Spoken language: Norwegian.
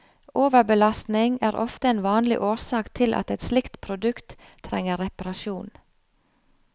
Overbelastning er ofte en vanlig årsak til at et slikt produkt trenger reparasjon.